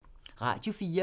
Radio 4